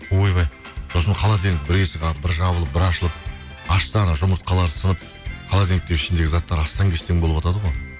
ойбай сосын холодильник бір есігі бір жабылып бір ашылып ашса жұмыртқалар сынып холодильниктің ішіндегі заттар астан кестен болыватады ғой